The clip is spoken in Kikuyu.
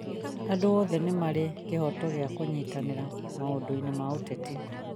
Andũ othe nĩ marĩ kĩhooto gĩa kũnyitanĩra maũndũ-inĩ ma ũteti